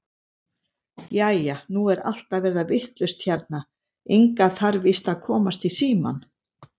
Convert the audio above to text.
Jæja, nú er allt að verða vitlaust hérna, Inga þarf víst að komast í símann.